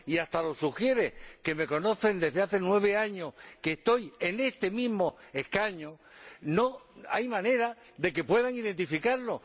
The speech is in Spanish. y hasta los ujieres, que me conocen desde hace nueve años, en los que he ocupado este mismo escaño, no hay manera de que puedan identificarlo.